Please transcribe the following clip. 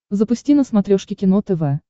запусти на смотрешке кино тв